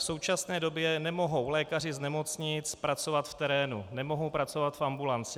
V současné době nemohou lékaři z nemocnic pracovat v terénu, nemohou pracovat v ambulanci.